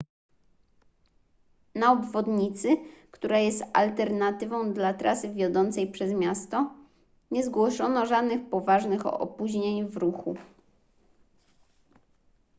na obwodnicy która jest alternatywą dla trasy wiodącej przez miasto nie zgłoszono żadnych poważnych opóźnień w ruchu